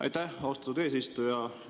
Aitäh, austatud eesistuja!